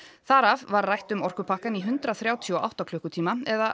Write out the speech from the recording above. þar af var rætt um orkupakkann í hundrað þrjátíu og átta klukkutíma eða